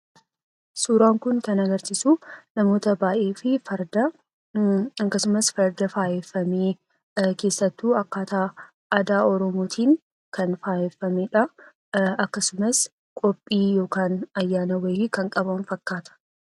Suuraan Kun kan agarsiisu, namoota baayyee fi farda akkasumas farda faayamee keessattuu akkaataa aadaa Oromootiin kan faayeffamedha. Akkasumas qophii yookaan ayyaana wayii kan qaban fakkaata.